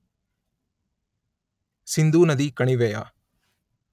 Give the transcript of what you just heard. ಸಿಂಧೂನದಿ ಕಣಿವೆಯ